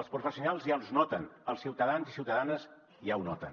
els professionals ja els noten els ciutadans i ciutadanes ja ho noten